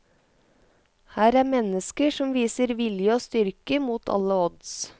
Her er mennesker som viser vilje og styrke mot alle odds.